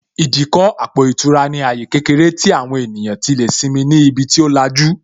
Ìdíkọ̀ àpò ìtura ní àyè kékeré tí àwọn ènìyàn tí lè simi ni ibi tí ó lajú